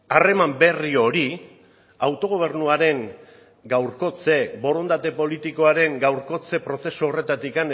harreman berri hori autogobernuaren gaurkotze borondate politikoaren gaurkotze prozesu horretatik